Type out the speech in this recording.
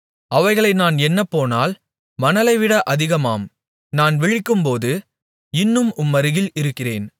அவைகளை நான் எண்ணப்போனால் மணலைவிட அதிகமாம் நான் விழிக்கும்போது இன்னும் உம்மருகில் இருக்கிறேன்